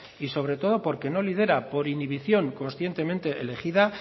y sobre todo porque no lidera por inhibición conscientemente elegida